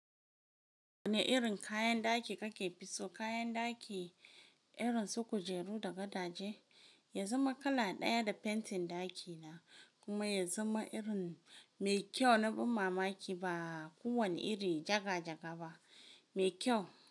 Wane irin kayan ɗaki kake fi so? Kayan ɗaki irin su kujeru da gadaje? Ya zama kala ɗaya da fentin ɗaki na kuma ya zama irin mai kyau na bam mamaki ba kowane iri jaga-jaga ba, mai kyau.